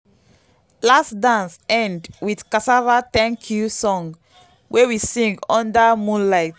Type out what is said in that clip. last dance end with cassava thank-you song wey we sing under moonlight.